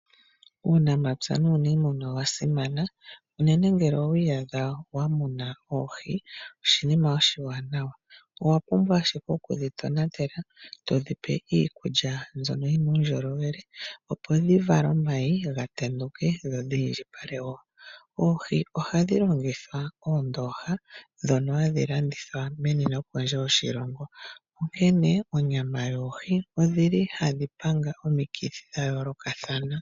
Uunamapya nuuniimuna owa simana unene ngele owi iyadha wa muna oohi oshinima oshiwanawa, owa pumbwa ashike oku dhi tonatela to dhi pe iikulya mbyono yi na uundjolowele opo dhi vale omayi ga tenduke dho dhi indjipale woo. Oohi ohadhi longithwa oondooha ndhono hadhi landithwa meni nokondje yoshilongo.